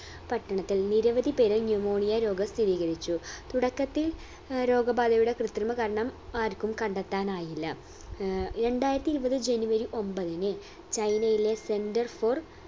പട്ടണത്തിൽ നിരവധി പേരിൽ pneumonia രോഗം സ്ഥിരീകരിച്ചു തുടക്കത്തിൽ ഏർ രോഗബാധയുടെ കൃത്രിമ കാരണം ആരിക്കും കണ്ടെത്താൻ ആയില്ല ഏർ രണ്ടായിരത്തി ഇരുപത് ജനുവരി ഒമ്പത്തിന് ചൈനയിലെ center for